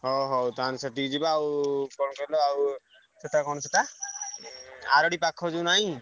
ହଉ ହଉ ତାହେଲେ ସେଠିକି ଯିବା ଆଉ କଣ କହିଲ ଆଉ ସେଟା କଣ ସେଟା ଏଁ ଆରଡି ପାଖ ଯୋଉ ନାଇଁ?